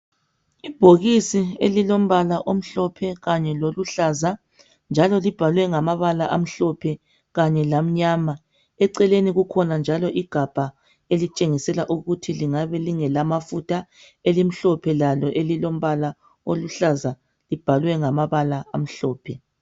Ibhokisi elilombala omhlophe kanye liluhlaza, libhaliwe ngamabala amhlophe kanye lamnyama. Eceleni kukhona njalo igabha elitshengisela ukuthi lingabe lingelamafutha elimhlophe elilombala omhlophe lalo elibhalwe ngamabala amhlophe.